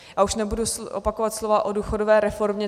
A už nebudu opakovat slova o důchodové reformě.